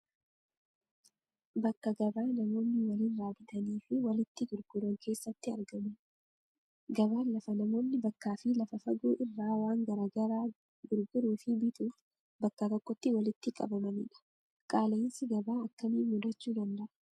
Bakka gabaa namoonni walirraa bitanii fi walitti gurguran keessatti argaman. Gabaan lafa namoonni bakkaa fi lafa fagoo irraa waan garaa garaa gurguruu fi bituuf bakka tokkotti walitti qabamanidha. Qaala'insi gabaa akkamiin mudachuu danda'a?